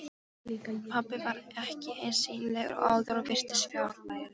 Pabbi var ekki eins sýnilegur og áður og virtist fjarlægari.